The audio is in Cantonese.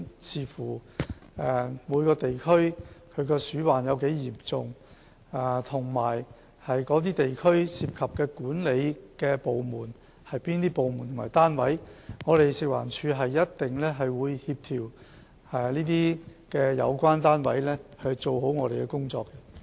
視乎每個地區鼠患的嚴重程度，以及地區涉及的管理部門或單位，食環署一定會協調相關單位做好工作。